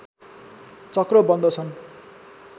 चक्र बन्दछन्